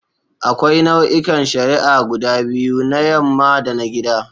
Akwai nau'ikan shari'a guda biyu: na yamma da na gida.